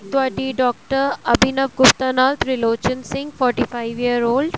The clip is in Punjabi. ਤੁਹਾਡੀ ਡਾਕਟਰ ਅਭਿਨਵ ਗੁਪਤਾ ਨਾਲ Tirlochan Singh forty five year old